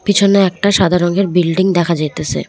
পিছনে একটা সাদা রঙের বিল্ডিং দেখা যাইতাসে।